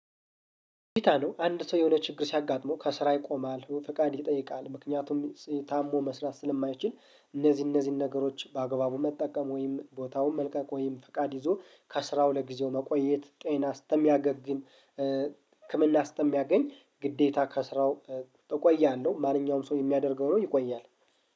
አንድ ሰው የሆነ ችግር ሲያጋጥመው ከስራ ይቆማል ፍቃድ ይጠይቃል ምክንያቱም ታሞ መስራት ስለማይችል እነዚህ እነዚህን ነገሮች በአግባቡ መጠቀም ወይም ቦታውን መልቀቅ ወይም ፈቃድ ይዞ ከስራው ለጊዜው መቆየት ጤናው እስተሚያገግም ህክምና እስተሚያገኝ ግዴታ ከስራው ተቆያለሁ ማንኛውም ሰው የሚያደርገው ነው ይቆያል